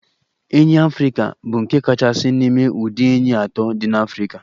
Enyí ọhịa Africa bụ nke kachasị n'ime ụdị enyí atọ dị n'Afrika.